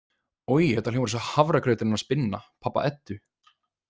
Oj, þetta hljómar eins og hafragrauturinn hans Binna, pabba Eddu.